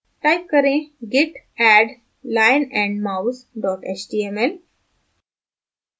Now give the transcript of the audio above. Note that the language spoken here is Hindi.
type करें git add lionandmouse html